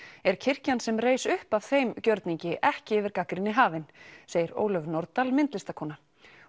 er kirkjan sem reis upp af þeim gjörningi ekki yfir gagnrýni hafin segir Ólöf Nordal myndlistarkona